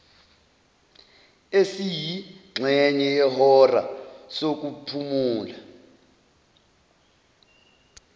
esiyingxenye yehora sokuphumula